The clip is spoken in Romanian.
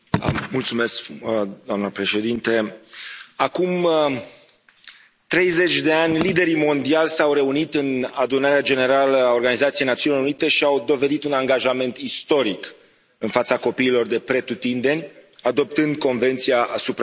Doamnă președintă, acum 30 de ani liderii mondiali s au reunit în Adunarea Generală a Organizației Națiunilor Unite și au dovedit un angajament istoric în fața copiilor de pretutindeni, adoptând Convenția asupra Drepturilor Copilului.